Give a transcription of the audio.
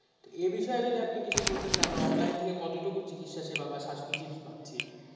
এই বিষয় যদি আপনি কিছু বলতেন কি আমরা অনলাইন থেকে কতটুকু চিকিৎসা সেবা বা suspective পাচ্ছি